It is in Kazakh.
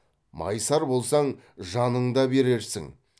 майысар болсаң жаның да берерсің